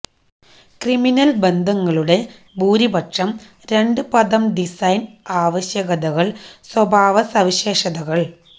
criminal ബന്ധങ്ങളുടെ ഭൂരിപക്ഷം രണ്ട് പദം ഡിസൈൻ ആവശ്യകതകൾ സ്വഭാവസവിശേഷതകൾ